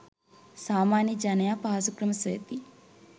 සාමාන්‍ය ජනයා පහසු ක්‍රම සොයති.